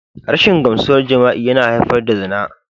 Rashin gamsuwar jima'i yana haifar da zina.